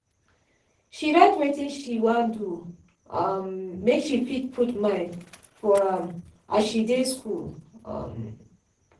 she write wetin she wan do um make she fit put mind for am as she dey school. um